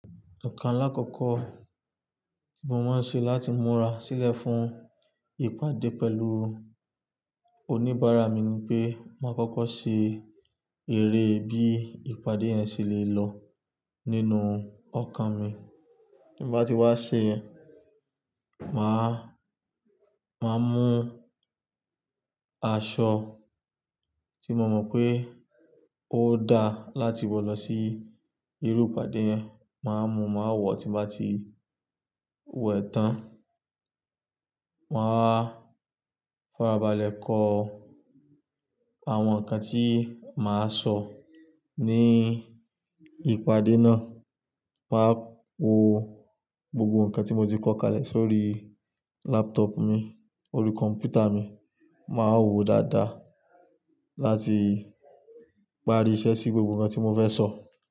Nǹkan alákọ̀ọ́kọ́ tí mo máa ń ṣe láti múra sílẹ̀ fún ìpàdé pẹ̀lú oníbàárà mi ní pé máa kọ́kọ́ ṣe eré bí ìpàdé yẹn ṣe le lọ nínú ọkàn mi. Bí bá ti wá ṣe, màá, màá mú aṣọ tí mo mọ̀ pé ó dáa láti wọ̀ lọ sí irú ìpàdé yẹn, màá mú, màá wọ̀ tí bá ti wẹ̀ tán. Màá farabalẹ̀ kọ àwọn ǹkan tí màá sọ ní ìpàdé náà. Màá wo gbogbo ǹkan tí mo ti kọ̀ kalẹ̀ sórí laptop mi, orí kọ̀m̀pútà mi. Màá wo dáadáa láti parí iṣẹ́ sí gbogbo ǹkan tí mo fẹ́ sọ.